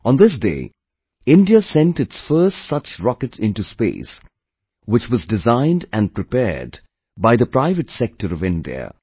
On this day, India sent its first such rocket into space, which was designed and prepared by the private sector of India